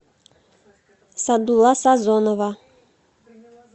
садулла сазонова